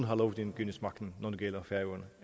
har lovgivningsmagten når det gælder færøerne